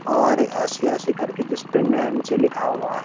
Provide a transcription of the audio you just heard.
और ऐसी ऐसी कर के जिसपे नैंसी लिखा हुआ है।